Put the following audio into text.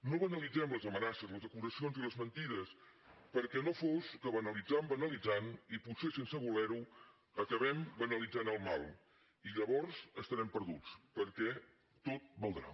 no banalitzem les amenaces les acusacions i les mentides perquè no fos que banalitzant banalitzant i potser sense voler ho acabem banalitzant el mal i llavors estarem perduts perquè tot valdrà